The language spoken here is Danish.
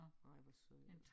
Ej hvor sødt